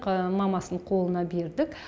мамасының қолына бердік